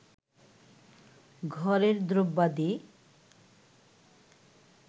ঘরের দ্রব্যাদি